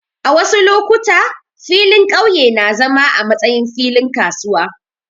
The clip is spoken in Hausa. A wasu lokuta, filin ƙauye na zama a matsayin filin kasuwa.